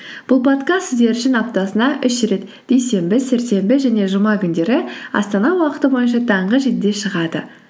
бұл подкаст сіздер үшін аптасына үш рет дүйсенбі сәрсенбі және жұма күндері астана уақыты бойынша таңғы жетіде шығады